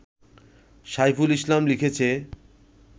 সাইফুল ইসলাম লিখেছে